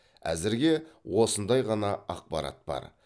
әзірге осындай ғана ақпарат бар